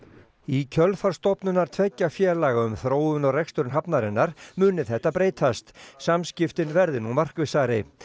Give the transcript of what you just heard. í kjölfar stofnunar tveggja félaga um þróun og rekstur hafnarinnar muni þetta breytast samskiptin verði nú markvissari